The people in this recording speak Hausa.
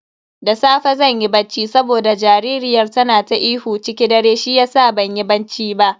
Da safe zan yi bacci saboda jaririyar tana ta ihu ciki dare shiyasa banyi banci ba.